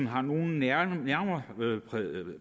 har nogen nærmere